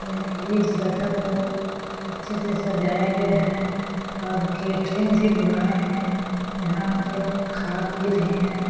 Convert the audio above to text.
यह जगह को अच्छे से सजाया गया है और केटरिंग भी बुलाये है यहाँ लोग खा-पी रहे हैं ।